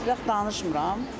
Heç vaxt danışmıram.